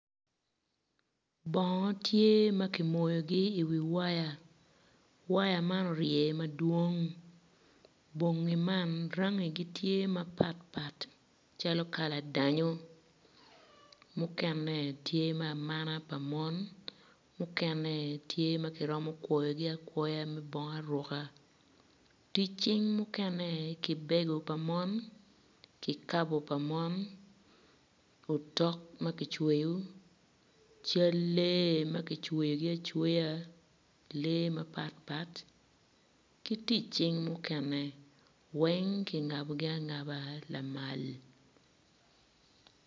Bongo tye ma ki moyogi i wi waya waya man orye madwong bongi man rangigi gitye mapatpat calo kala danyo mukene tye ma amana pa mon mukene tye ma kiromo kwoyogi akwoya me bongo aruka tic cing mukene kibego pa mon kikabu pa mon utok ma kicweyo cal lee ma gicweyogi acweya lee mapat pat ki tic cing mukene weng ki ngabogi angaba lamal